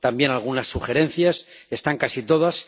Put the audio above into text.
también algunas sugerencias, están casi todas.